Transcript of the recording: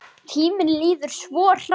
Tíminn líður svo hratt!